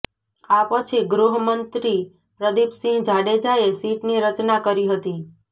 આ પછી ગૃહમંત્રી પ્રદીપસિંહ જાડેજાએ સીટની રચના કરી હતી